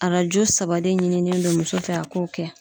Arajo saba de ɲinilen do muso fɛ a k'o kɛ.